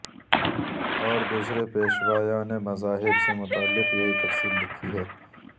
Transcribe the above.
اور دوسرے پیشوایان مذاھب سے متعلق یہی تفصیل لکھی ہے